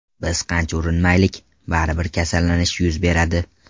Biz qancha urinmaylik, baribir kasallanish yuz beradi.